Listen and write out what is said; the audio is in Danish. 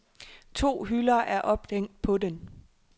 To hylder er ophængt på den.